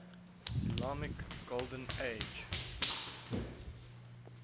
islamic golden age